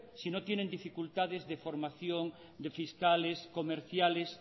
si no tienen dificultades de formación de fiscales comerciales